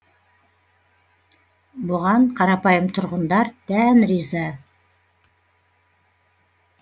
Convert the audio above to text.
бұған қарапайым тұрғындар дән риза